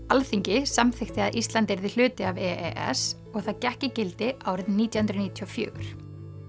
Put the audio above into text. Alþingi samþykkti að Ísland yrði hluti af e s og það gekk í gildi árið nítján hundruð níutíu og fjögur